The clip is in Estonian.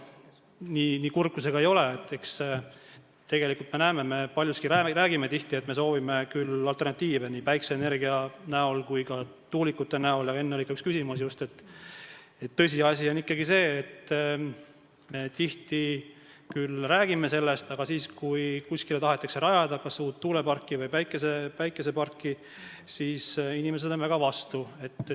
Nii kurb kui see ka ei ole, me paljuski räägime tihti, et me soovime küll alternatiive nii päikeseenergia kui ka tuulikute kujul, aga – enne oli ka üks selline küsimus just – tõsiasi on ikkagi see, et me tihti räägime sellest, aga kui kuskile tahetakse rajada kas uut tuuleparki või päikeseenergiaparki, siis on inimesed väga vastu.